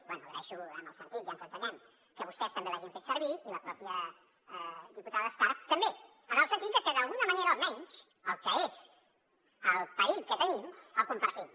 bé agraeixo en el sentit ja ens entenem que vostès també l’hagin fet servir i la pròpia diputada escarp també en el sentit de que d’alguna manera almenys el que és el perill que tenim el compartim